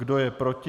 Kdo je proti?